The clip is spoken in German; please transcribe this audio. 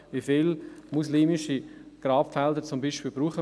Wie viele muslimische Grabfelder werden gebraucht?